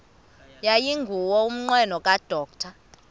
yayingenguwo umnqweno kadr